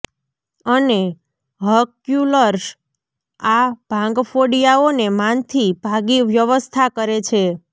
અને હર્ક્યુલસ આ ભાંગફોડિયાઓને માંથી ભાગી વ્યવસ્થા કરે છે